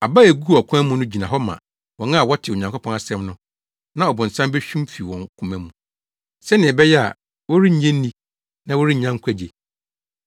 Aba a eguu ɔkwan mu no gyina hɔ ma wɔn a wɔte Onyankopɔn asɛm no na ɔbonsam behwim fi wɔn koma mu, sɛnea ɛbɛyɛ a, wɔrennye nni na wɔrennya nkwagye.